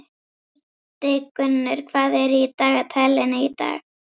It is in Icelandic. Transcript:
Hildigunnur, hvað er í dagatalinu í dag?